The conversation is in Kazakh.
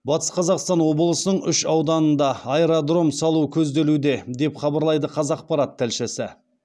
батыс қазақстан облысының үш ауданында аэродром салу көзделуде деп хабарлайды қазақпарат тілшісі